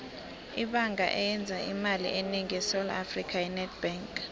ibhanga eyenza imali enengi esewula afrika yi nedbank